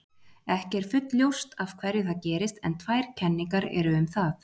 ekki er fullljóst af hverju það gerist en tvær kenningar eru um það